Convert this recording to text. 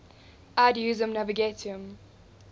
ad usum navigatium